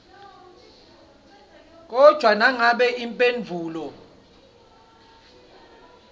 kodvwa nangabe imphendvulo